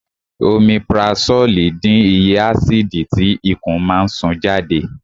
Omipurasólì dín iye ásìdì tí ikùn máa ń sún jáde